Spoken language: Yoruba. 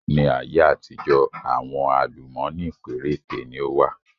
Ni ayé àtijọ́ àwọn àlùmọ́nì péréte ni ó wà